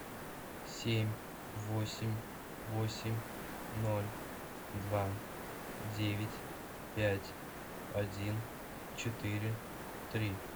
семь восемь восемь ноль два девять пять один четыре три